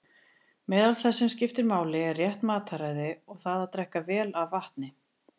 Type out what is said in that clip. Meðal þess sem skiptir máli er rétt mataræði og það að drekka vel af vatni.